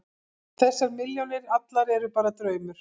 Þessar milljónir allar eru bara draumur.